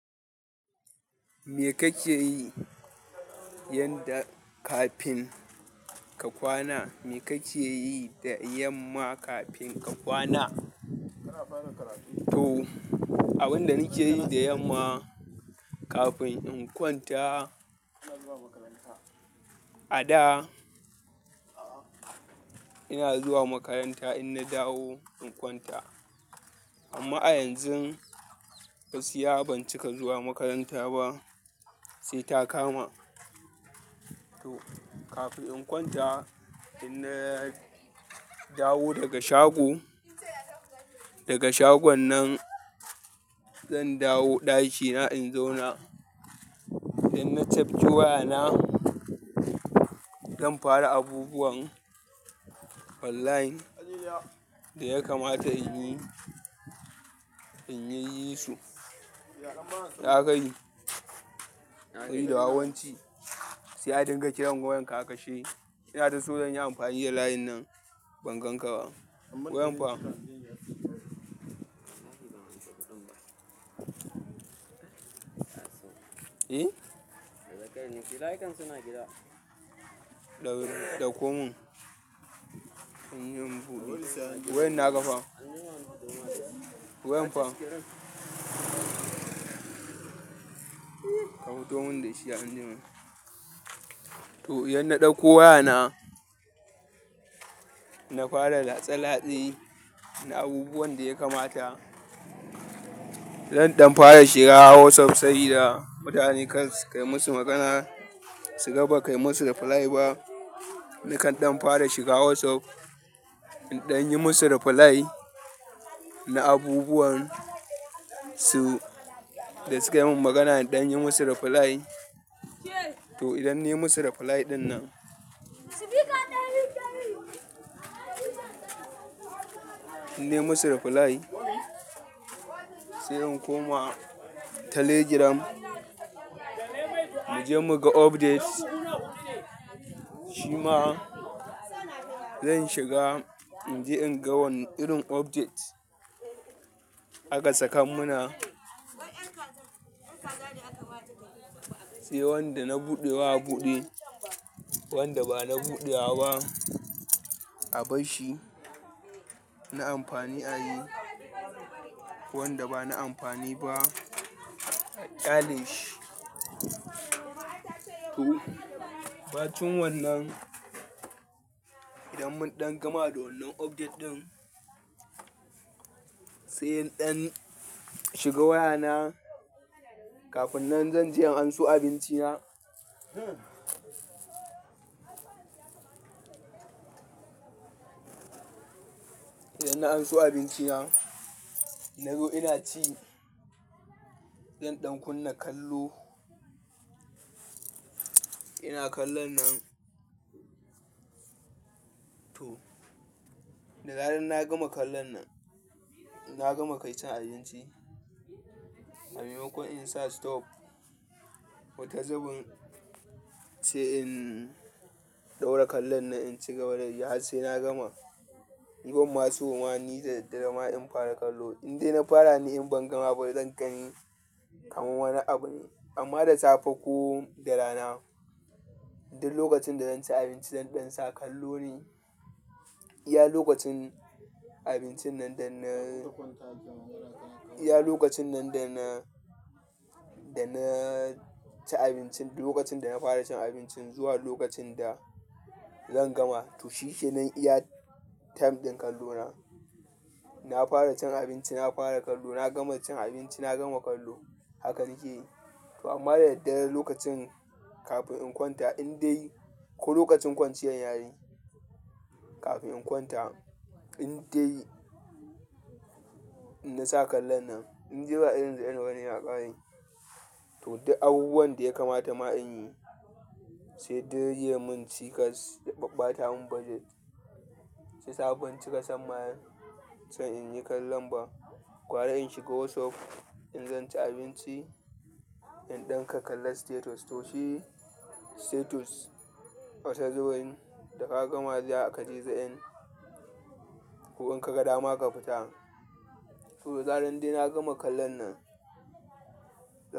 Me kake yi yadda kafin ka kwana? Me kake yi da yamma kafin ka kwana? To, abin da nake yi da yamma kafin in kwanta, a da ina zuwa makaranta inna dawo in kwanta. Amma a yanzu gaskiya ban cika zuwa makaranta ba sai ta kama to, kafin in kwanta, in na dawo daga shago, daga shagon nan zan dawo ɗakina in zauna. In na cafki waya na, zan fara abubuwan online da ya kamata in yi in yi su. Ya akayi, sabi da wawan ci sai a dinga kiran wayan ka a kashe. Ina ta so zan yi amfani da layin nan, ban gan ka ba. Wayan fa. E? Daga kai nake, layukan suna gida. Ɗakko mun in yi in buɗe. Wayan na ka fa. Wayan fa. Ka futo mun da shi anjima. To, idan na ɗauko waya na, na fara da latse latse na abubuwan da ya kamata. Zan ɗan fara shiga WhatsApp, saboda mutane kar su kai musu magana su gaba kai musu reply ba. Nakan ɗan fara shiga WhatsApp, in ɗan yi musu reply na abubuwan su da sukai min magana in ɗan yi musu reply. To, idan nayi musu reply ɗinnan, in nayi musu reply, sai in koma Telegram muje muga updates. Shi ma zan shiga in je in ga wane irin update aka sakan mu na. Sai wanda na buɗe wa a buɗe, wanda ba na buɗe wa ba a barshi na amfani a yi. Wanda ba na amfani ba a ƙyale shi to, ɓacin wannan idan mun ɗan gama da wannan update ɗin, sai in ɗan shiga waya na kafin nan zan je in anso abinci na. Idan na anso abinci na, nazo ina ci, zan ɗan kunna kallo. Ina kallon nan, to, da zarar na gama kallon nan, na gama kai cin abinci. A maimakon in sa stop wata zubin sai in ɗora da kallon nan in ci gaba da yi har sai na gama ni ban ma so ma ni da daddare ma in fara kallo. In dai na fara ni in ban gama ba zan gani kamar wani abu ne. Amma da safe ko da rana, duk lokacin da zan ci abinci zan ɗan sa kallo ne. Iya lokacin abincin nan da na, iya lokacin nan da na, da na ci abinci, lokacin da na fara cin abinci zuwa lokacin da zan gama. To shi shine kenan iya time ɗin kallo na. Na fara cin abinci na fara kallo, na gama cin abinci na gama kallo. Haka nake yi. To amma da daddare lokacin kafin in kwanta in dai ko lokacin kwanciyar yayi kafin in kwanta, in dai na sa kallon nan, in de ba irin za end bane ya ƙare. To duk abubuwan da ya kamata ma in yi, sai dai ya mun cikas ya ɓaɓɓata mun budget. Shiyasa ban cika son ma, son in yi kallon ba. Gwara in shiga whatsapp in zance abinci in dan ka kalla status to shi status wata zubin da ka ga ma zakaje za end ko in kaga dama ka fita to da zaran dai na gama kallon nan.